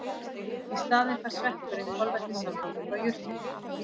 Í staðinn fær sveppurinn kolvetnissambönd frá jurtinni.